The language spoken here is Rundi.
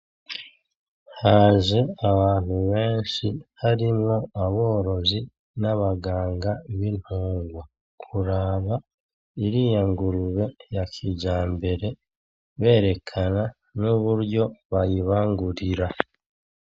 Haje abantu benshi harimwo aborozi n'abaganga bintungwa. Kuraba iriya ngurube ya kijambere berekana n'uburyo bayibangurira.